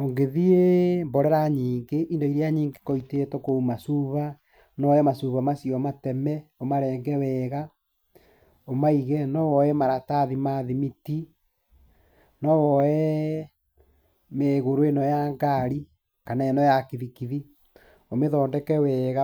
ũngĩthiĩ mborera nyingĩ indo iria nyingĩ ikoragwo itetwo kũu macuba, no woe macuba macio mateme, ũmarenge wega, ũmaige, no woe maratathi ma thimiti, no woe mĩgũrũ ĩno ya ngari, kana ĩno ya kibikibi, ũmĩthondeke wega